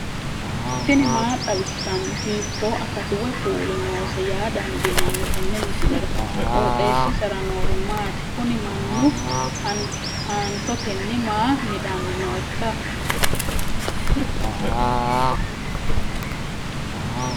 tini maa xawissanno ? hiitto akati woy kuuli noose yaa dandiinanni tenne misilera? qooxeessisera noori maati? kuni mannu haantotenni maa midanni nooikka